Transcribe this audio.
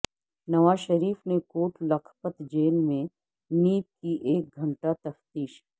نواز شریف سے کوٹ لکھپت جیل میں نیب کی ایک گھنٹہ تفتیش